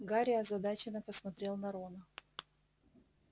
гарри озадаченно посмотрел на рона